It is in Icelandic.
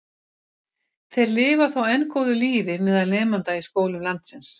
Þeir lifa þó enn góðu lífi meðal nemenda í skólum landsins.